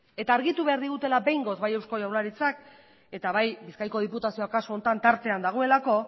eta argitu behar digutela behingoz bai eusko jaurlaritzak eta bai bizkaiko diputazioak kasu honetan tartean dagoelako